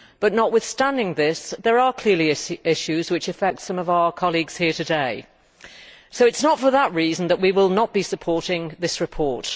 But notwithstanding this, there are clearly issues which affect some of our colleagues here today. So it is not for that reason that we will not be supporting this report.